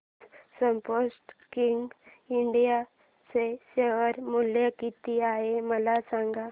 आज Sportking India चे share मूल्य किती आहे मला सांगा